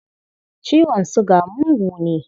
Ciwon suga mugu ne.